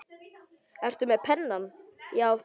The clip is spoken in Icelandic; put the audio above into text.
Ertu með penna, já.